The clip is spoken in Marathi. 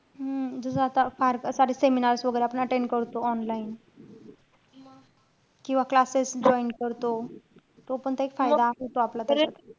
हम्म जस आता फार सार~ seminars वैगेरे आपण attend करतो online किंवा classes join करतो. तो पण त एक फायदाच होतो आपला त्याच्यात.